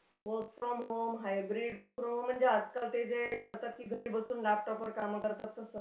work from home - hybrid - work from home म्हणजे आजकाल ते जे करतात की घरी बसून लॅपटॉपवर कामं करतात तसं